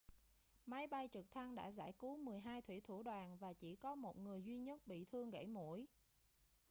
máy bay trực thăng đã giải cứu mười hai thủy thủ đoàn và chỉ có một người duy nhất bị thương gẫy mũi